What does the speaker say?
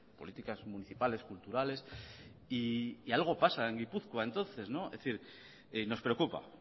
políticas municipales culturales y algo pasa en gipuzkoa entonces es decir nos preocupa